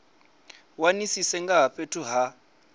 wanisise nga ha fhethu ha